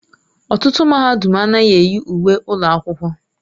Ọtụtụ mahadum anaghị eyi uwe ụlọ akwụkwọ.